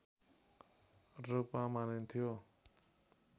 रूप मानिन्थ्यो